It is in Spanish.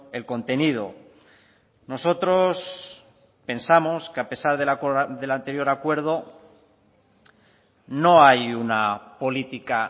el contenido nosotros pensamos que a pesar del anterior acuerdo no hay una política